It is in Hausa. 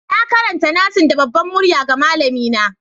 Na karanta nassin da babbar murya ga malamina.